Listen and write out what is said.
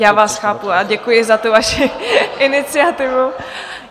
Já vás chápu a děkuji za tu vaši iniciativu.